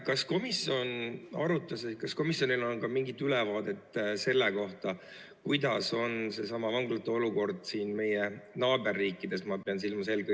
Kas komisjon arutas või kas komisjonil on ka mingit ülevaadet sellest, milline on seesama vanglate olukord meie naaberriikides?